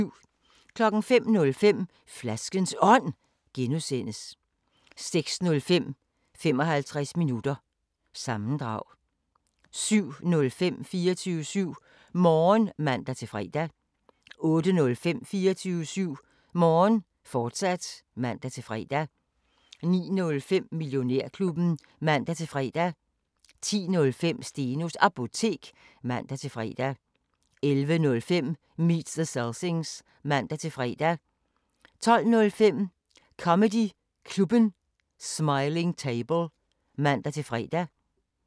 12:00: Bonderøven 2013 (Afs. 6) 12:30: I hus til halsen II (8:8) 13:10: Hammerslag 2006 (Afs. 18) 13:40: Hammerslag 2007 (man og ons-tor) 14:05: Skattejægerne 14:35: Taggart: Døden ringer (Afs. 3) 15:25: Mord i forstæderne (4:12) 16:10: Mord i forstæderne (5:12) 17:00: Downton Abbey V (7:10) 17:50: TV-avisen (man-fre)